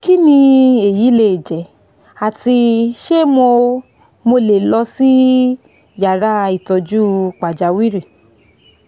kini eyi leje ati se mo mo le lọ si yara itoju pajawiri?